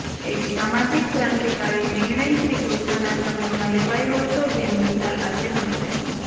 એક સામાજિક ક્રાંતિકારી નિર્ણય શ્રીકૃષ્ણના સમયમાં લેવાયો હતો જેની મિસાલ આજે પણ છે